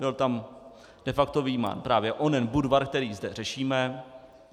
Byl tam de facto vyjímán právě onen Budvar, který zde řešíme.